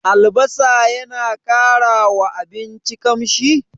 Albasa yana ƙara wa abinci ƙamshi?